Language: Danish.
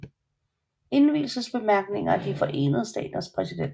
Indvielsesbemærkninger af De Forenede Staters præsident